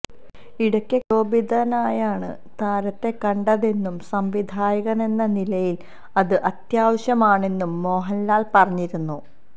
ഇടയ്ക്ക് ക്ഷോഭിതനായാണ് താരത്തെ കണ്ടതെന്നും സംവിധായകനെന്ന നിലയില് അത് അത്യാവശ്യമാണെന്നും മോഹന്ലാല് പറഞ്ഞിരുന്നു